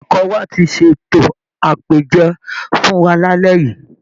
Ilé ẹ̀kọ́ wa ti ṣètò àpèjẹ fún wa lálẹ́ yìí